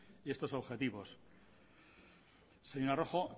estos objetivos señora rojo